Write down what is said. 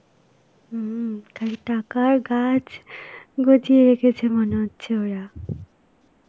হম , তাই টাকার গাছ গজিয়ে রেখেছে মনে হচ্ছে ওরা.